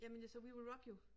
Jamen jeg så We Will Rock You